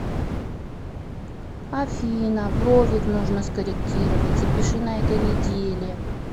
афина бровик нужно скорректировать запиши на этой неделе